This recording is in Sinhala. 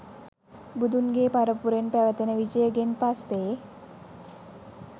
බුදුන්ගේ පරපුරෙන් පැවතෙන විජයගෙන් පස්සේ